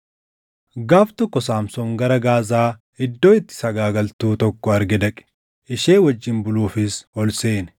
Gaaf tokko Saamsoon gara Gaazaa iddoo itti sagaagaltuu tokko arge dhaqe. Ishee wajjin buluufis ol seene.